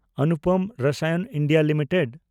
Anupam Rasayan India limited